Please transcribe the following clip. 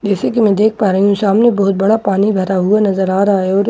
जैसे कि मैं देख पा रही हूं सामने बहुत बड़ा पानी भरा हुआ नजर आ रहा है और--